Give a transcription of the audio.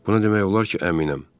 Buna demək olar ki, əminəm.